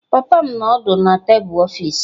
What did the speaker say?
Papa m nọ ọdụ na tebụl ọfịs.